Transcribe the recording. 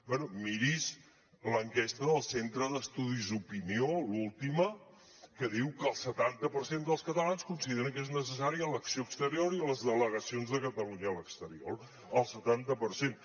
bé miri’s l’enquesta del centre d’estudis d’opinió l’última que diu que el setanta per cent dels catalans consideren que és necessària l’acció exterior i les delegacions de catalunya a l’exterior el setanta per cent